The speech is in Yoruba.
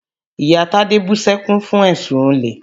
Ìyá Tádé bú sẹ́kún fún èsùn olè.